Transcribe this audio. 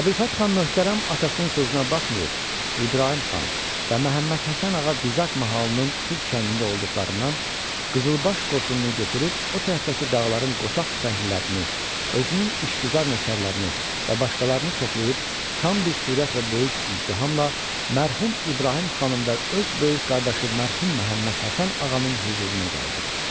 Əbülfət Xan möhtərəm atasının sözünə baxmayıb, İbrahim xan və Məhəmməd Həsən ağa Dizak mahalının Tux kəndində olduqlarından qızılbaş qoşununu götürüb o tərəfdəki dağların qoçaq tüfənglilərini, özünün işgüzar nökərlərini və başqalarını toplayıb tam bir sürət və böyük izdihamla mərhum İbrahim xanın və öz böyük qardaşı mərhum Məhəmməd Həsən Ağanın hüzuruna gəldi.